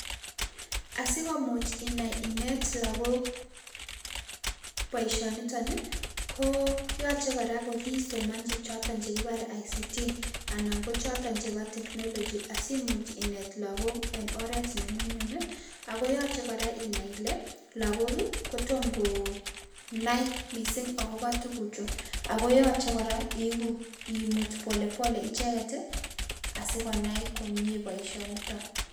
Asikomuch inai inet lakok boisionitok ko yachei kora ko kisomanchi chichito chekiparei ICT anan kochoto chebo technology asimuch inet lakok eng oret ne nyumnyum ako yochei kora inai lakok kotomo konai mising akobo tuguchu ako yochei kora iiku imuut polepole icheket asikonai komnye boisionitok.